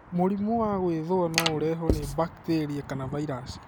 Mũrimũ wa gwĩthua no ũrehwo nĩ bakiteria kana vairaci.